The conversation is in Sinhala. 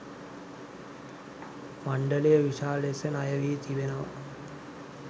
මණ්ඩලය විශාල ලෙස ණයවී තිබෙනවා.